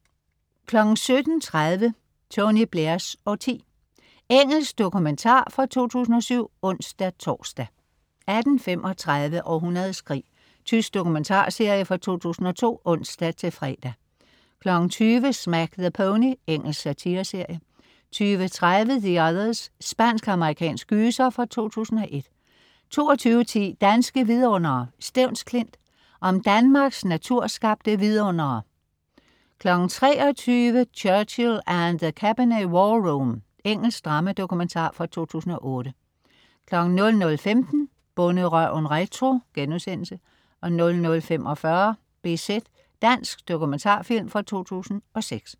17.30 Tony Blairs årti. Engelsk dokumentar fra 2007 (ons-tors) 18.35 Århundredets krig. Tysk dokumentarserie fra 2002 (ons-fre) 20.00 Smack the Pony. Engelsk satireserie 20.30 The Others. Spansk-amerikansk gyser fra 2001 22.10 Danske vidundere: Stevns Klint. Om Danmarks naturskabte vidundere 23.00 Churchill And The Cabinet War Room. Engelsk drama-dokumentar fra 2008 00.15 Bonderøven retro* 00.45 BZ. Dansk dokumentarfilm fra 2006